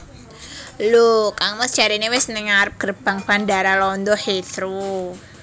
Lho kang mas jarene wis ning ngarep gerbang Bandara Londo Heathrow